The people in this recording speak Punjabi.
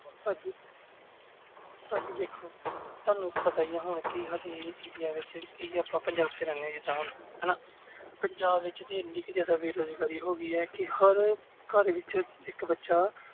ਭਾਜੀ ਭਾਜੀ ਦੇਖੋ ਤੁਹਾਨੂੂੰ ਤੇ ਪਤਾ ਹੀ ਆ ਹੁਣ ਕ ਹੀ ਹਜੇ ਇੰਡੀਆ ਵਿੱਚ ਕਿ ਆਪਾਂ ਪੰਜਾਬ ਵਿੱਚ ਰਹਿੰਦੇ ਹਾਂ ਜਿੱਦਾਂ ਹੁਣ ਹਨਾ ਪੰਜਾਬ ਵਿੱਚ ਤੇ ਇੰਨੀ ਕੁ ਜ਼ਿਆਦਾ ਬੇਰੁਜ਼ਗਾਰੀ ਹੋ ਗਈ ਹੈ ਕਿ ਹਰ ਘਰ ਵਿੱਚ ਇੱਕ ਬੱਚਾ